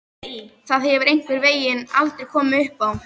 Það hefur einhvern veginn aldrei komið uppá.